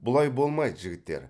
бұлай болмайды жігіттер